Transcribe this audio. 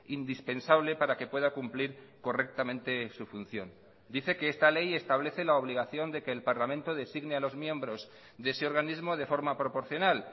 indispensable para que pueda cumplir correctamente su función dice que esta ley establece la obligación de que el parlamento designe a los miembros de ese organismo de forma proporcional